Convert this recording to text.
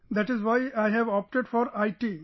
That's why I have opted for IT